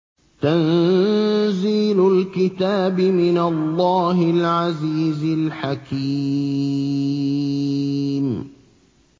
تَنزِيلُ الْكِتَابِ مِنَ اللَّهِ الْعَزِيزِ الْحَكِيمِ